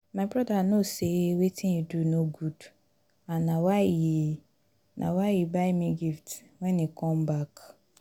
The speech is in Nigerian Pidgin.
my brother no say wetin he do no good and na why he na why he buy me gift wen he come back